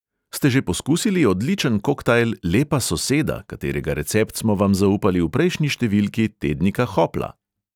Ste že poskusili odličen koktajl "lepa soseda", katerega recept smo vam zaupali v prejšnji številki tednika hopla?